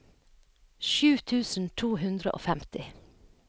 sju tusen to hundre og femti